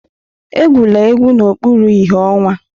Egwula egwu n'okpuru ìhè ọnwa!